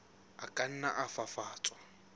a ka nna a fafatswa